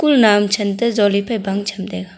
naoam than toh jole phai bang tham taiga.